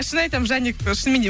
шын айтамын жаник шынымен де